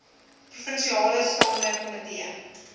provinsiale staande komitee